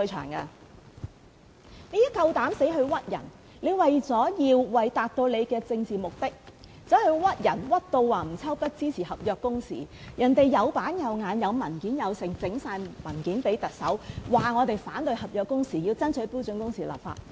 郭家麒膽敢在這裏誣衊人，他為了達到自己的政治目的，誣衊吳秋北支持合約工時，人家做事有板有眼，有文件交給特首，表示反對合約工時，要爭取標準工時立法。